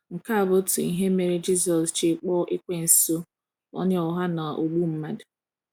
Nke a bụ otu ihe mere Jisọs ji kpọọ ekwensụ onye ụgha na ogbu mmadụ.